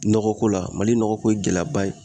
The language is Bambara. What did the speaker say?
Nɔgɔko la Mali nɔgɔko ye gɛlɛyaba ye